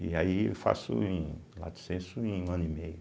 E aí eu faço em Lato Senso um ano e meio.